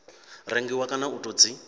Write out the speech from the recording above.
rengiwa kana u tou dzi